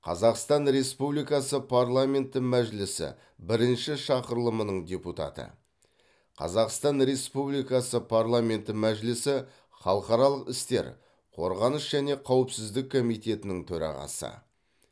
қазақстан республикасы парламенті мәжілісі бірінші шақырылымының депутаты қазақстан республикасы парламенті мәжілісі халықаралық істер қорғаныс және қауіпсіздік комитетінің төрағасы